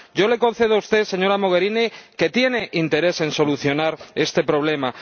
Yo le concedo a usted, señora Mogherini, que tiene interés en solucionar este problema.